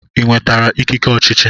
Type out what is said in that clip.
Ị nwetara ikike ọchịchị?